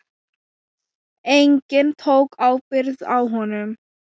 Enginn tók ábyrgð á honum.